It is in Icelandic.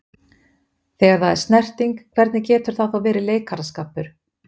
Þegar það er snerting, hvernig getur þetta þá verið leikaraskapur?